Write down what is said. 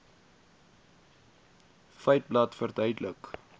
feiteblad verduidelik